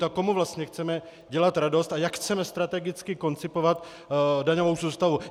Tak komu vlastně chceme dělat radost a jak chceme strategicky koncipovat daňovou soustavu?